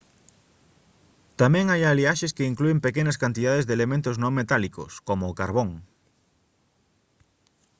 tamén hai aliaxes que inclúen pequenas cantidades de elementos non metálicos como o carbón